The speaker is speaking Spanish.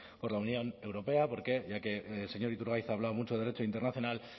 por la unión europea porque ya que el señor iturgaiz ha hablado mucho de derecho internacional